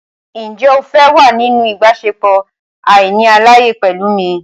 Ǹjẹ́ o fẹ́ wà nínú ìbáṣepọ̀ àìní àlàyé pẹ̀lú mi?